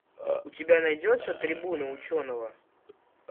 у тебя найдется трибуна ученого